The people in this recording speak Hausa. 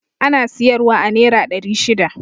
Ana siyar wa a nera ɗari shida